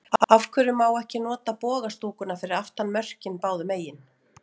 Af hverju má ekki nota boga stúkuna fyrir aftan mörkin báðu megin?